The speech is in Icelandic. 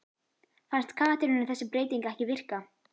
Fannst Katrínu þessi breyting ekki virka?